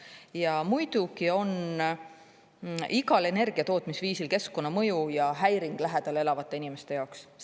Jaa, muidugi on igal energiatootmisviisil keskkonnamõju ja häiring lähedal elavate inimeste jaoks.